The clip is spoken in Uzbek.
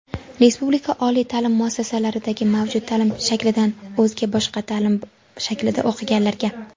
Respublika oliy ta’lim muassasalaridagi mavjud ta’lim shaklidan o‘zga (boshqa) ta’lim shaklida o‘qiganlarga;.